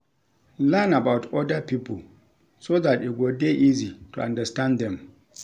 Learn about oda pipo so dat e go dey easy to understand dem